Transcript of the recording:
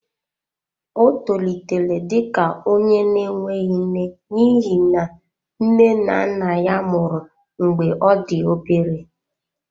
Ọ tolitere dị ka onye na-enweghị nne n'ihi na nne na nna ya nwụrụ mgbe ọ dị obere.